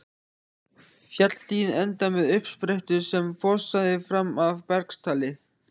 Fjallshlíðin endaði með uppsprettu sem fossaði fram af bergstalli.